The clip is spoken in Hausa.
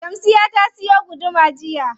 Shamsiyya ta siyo guduma jiya.